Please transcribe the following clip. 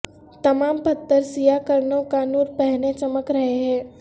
تمام پتھر سیاہ کرنوں کا نور پہنے چمک رہے ہیں